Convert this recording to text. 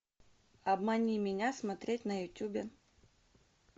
обмани меня смотреть на ютубе